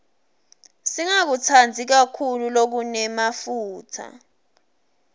singakutsandzi kakhulu lokunemafutsa